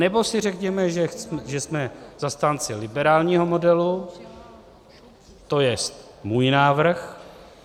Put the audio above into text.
Anebo si řekněme, že jsme zastánci liberálního modelu, to je můj návrh.